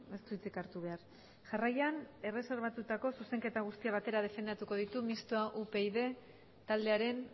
ez du hitzik hartu behar jarraian erreserbatutako zuzenketak batera defendatuko ditu mistoa upyd taldearen